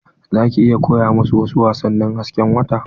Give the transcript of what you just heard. Za ki iya koya musu wasu wasannin hasken wata?